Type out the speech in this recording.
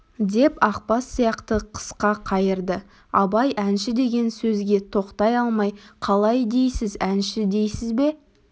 деп ақбас сияқты қысқа қайырды абай әнші деген сөзге тоқтай алмай қалай дейсіз әнші дейсіз бе